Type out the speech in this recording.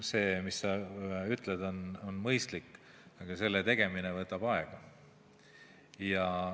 See, mis sa ütled, on mõistlik, aga selle tegemine võtab aega.